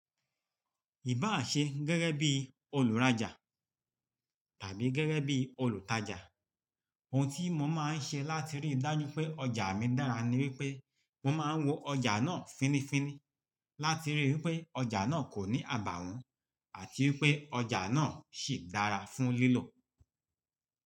Ìbá à ṣe gẹ́gẹ́ bí olùrajà tàbí gẹ́gẹ́ bí olùtajà, ohun tí mo máa ń ṣe láti rí i dájú pé ọjà mi dára ni wípé mo máa ń wo ọjà náà fínnífínní láti rí i wípé ọjà náà kò ní àbàwọ́n àti wípé ọjà náà sì dára fún lílò.